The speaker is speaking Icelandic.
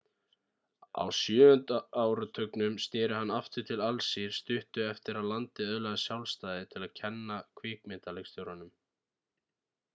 á sjöunda áratugnum snéri hann aftur til alsír stuttu eftir að landið öðlaðist sjálfstæði til að kenna kvikmyndaleikstjórn